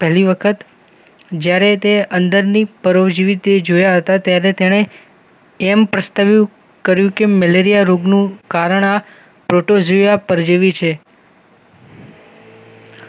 પહેલી વખત જ્યારે તે અંડર ની પરોવજીવી તે જોયા હતા ત્યારે તેણે એમ પ્રસ્તાવ્યૂ કર્યું કે મલેરિયા રોગનું કારણ આ પ્રોટોજિયા પરજીવી છે